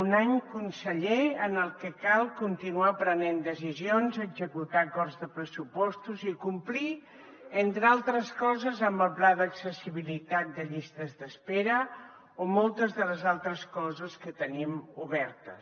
un any conseller en el que cal continuar prenent decisions executar acords de pressupostos i complir entre altres coses amb el pla d’accessibilitat de llistes d’espera o moltes de les altres coses que tenim obertes